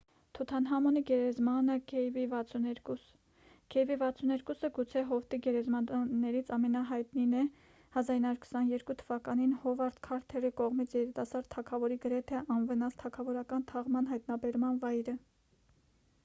թութանհամոնի գերեզմանը kv62։ kv62-ը գուցե հովտի գերեզմաններից ամենահայտնին է՝ 1922 թ.-ին հովարդ քարթերի կողմից երիտասարդ թագավորի գրեթե անվնաս թագավորական թաղման հայտնաբերման վայրը։